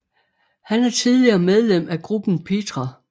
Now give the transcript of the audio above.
Han er tidligere medlem af gruppen Petra